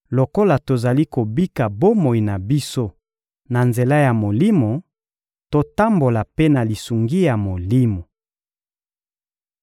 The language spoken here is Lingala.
Lokola tozali kobika bomoi na biso na nzela ya Molimo, totambola mpe na lisungi ya Molimo.